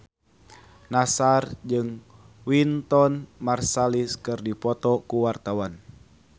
Nassar jeung Wynton Marsalis keur dipoto ku wartawan